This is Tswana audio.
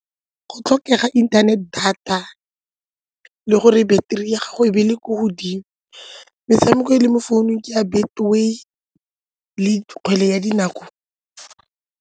Go tlhokega internet data le gore battery ya gago e be le ko godimo, metshameko e le mo founung ke ya Betway le kgwele ya dinao.